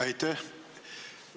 Aitäh!